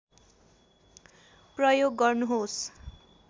प्रयोग गर्नुहोस्